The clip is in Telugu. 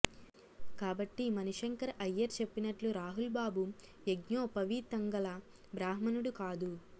కాబట్టి మణిశంకర అయ్యర్ చెప్పినట్లు రాహుల్ బాబు యజ్ఞోపవీతంగల బ్రాహ్మణుడు కాదు